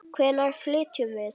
Hvenær flytjum við?